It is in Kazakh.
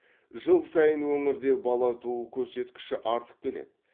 жыл сайын өңірде бала туу көрсеткіші артып келеді